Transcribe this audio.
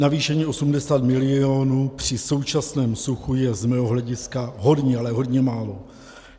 Navýšení 80 mil. při současném suchu je z mého hlediska hodně, ale hodně málo.